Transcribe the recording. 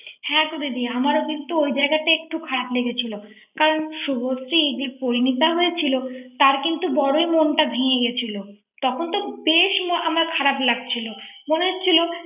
হ্যাঁ তো দিদি আমারও কিন্তু ওই জায়গাটা একটু খারাপ লেগেছিল কারণ শুভ শ্রী এই যে পরিণীতা হয়েছিল তার কিন্তু বড়ই মনটা ভেঙে গিয়েছিল তখন তো বেশ এ আমার খারাপ লাগছিল মনে হচ্ছিল ৷